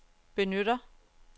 benytter